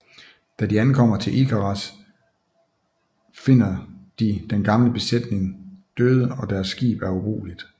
Da de ankommer til Icaras I finder de den gamle besætning døde og deres skib er ubrugeligt